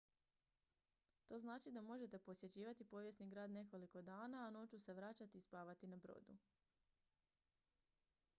to znači da možete posjećivati povijesni grad nekoliko dana a noću se vraćati i spavati na brodu